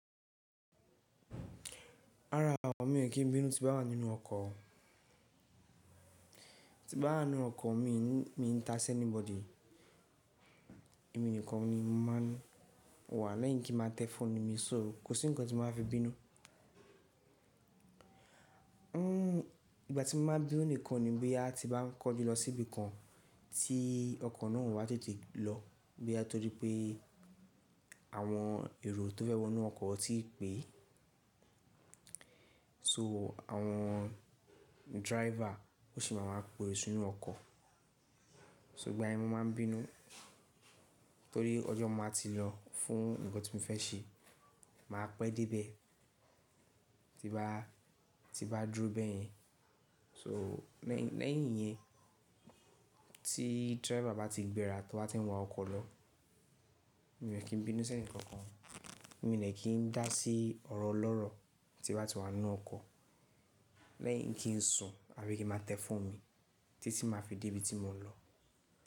Rárá o, mi ò kí n bínú tí n bá wà nínú ọkọ̀. Ti bá wà nínú ọkọ̀, mi n ta sẹ́níbọdì Èmi nìkan ni mo máa n wà lẹ́yìn kí n máa tẹ fóònù mi sọ́, kò sí nǹkan tí máa fi bínú. Hmm, ìgbà tí mo máa bínú nìkan ni bí a ti bá n kọjú lọ síbi kan tí ọkọ̀ náà ò wá tètè lọ. Bóyá torí pé àwọn èrò tó fẹ́ wọ inú ọkọ̀ ò ti pé. So àwọn driver ó sì máa wá pe èrò sínú ọkọ̀. So ìgbà yẹn mo máa n bínú torí ọjọ́ mo máa ti lọ fún nǹkan tí mo fẹ́ ṣe máa pẹ́ dé ibẹ̀ tí bá, tí n bá dúró bẹ́yẹn. So lẹ́yìn yẹn tí driver bá ti gbéra tó bá ti ń wa ọkọ̀ lọ, mi ò kí n bínú sẹ́nì kankan. Mi ò ní kí n dá sí ọ̀rọ̀ ọlọ́rọ̀ tí a bá ti wà nínú ọkọ̀ lẹ́yìn kí n sùn àbí kí n máa tẹ fóònù mi títí tí máa fi dé ibi tí mò ń lọ.